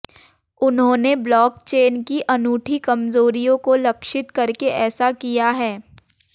उन्होंने ब्लॉकचेन की अनूठी कमजोरियों को लक्षित करके ऐसा किया है